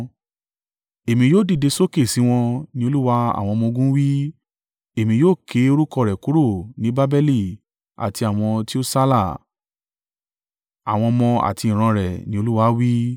“Èmi yóò dìde sókè sí wọn,” ni Olúwa àwọn ọmọ-ogun wí. “Èmi yóò ké orúkọ rẹ̀ kúrò ní Babeli àti àwọn tí ó sálà, àwọn ọmọ àti ìran rẹ̀,” ni Olúwa wí.